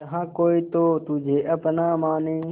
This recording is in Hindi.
जहा कोई तो तुझे अपना माने